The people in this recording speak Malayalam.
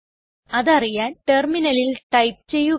അതറിയാൻ ടെർമിനലിൽ ടൈപ്പ് ചെയ്യുക